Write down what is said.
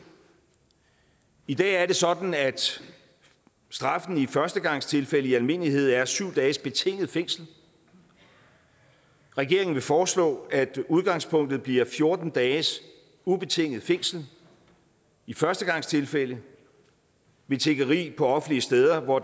i dag er det sådan at straffen i førstegangstilfælde i almindelighed er syv dages betinget fængsel regeringen vil foreslå at udgangspunktet bliver fjorten dages ubetinget fængsel i førstegangstilfælde ved tiggeri på offentlige steder hvor